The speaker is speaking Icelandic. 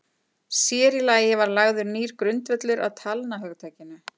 Sér í lagi var lagður nýr grundvöllur að talnahugtakinu.